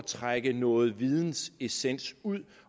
trække noget vidensessens ud